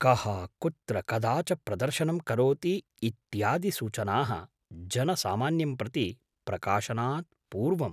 कः कुत्र कदा च प्रदर्शनं करोति इत्यादिसूचनाः जनसामान्यं प्रति प्रकाशनात् पूर्वम् ?